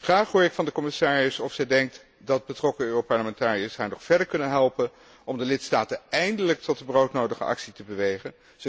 Graag hoor ik van de commissaris of zij denkt dat betrokken Europarlementariërs haar nog verder kunnen helpen om de lidstaten eindelijk tot de broodnodige actie te bewegen.